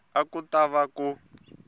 a ku ta va ku